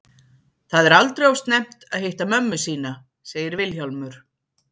Það er aldrei of snemmt að hitta mömmu sína, segir Vilhjálmur.